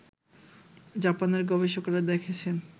জাপানের গবেষকরা দেখেছেন